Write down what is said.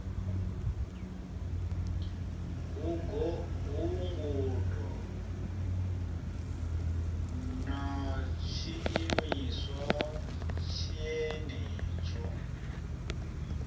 hu ngudo na tshiimiswa tshenetsho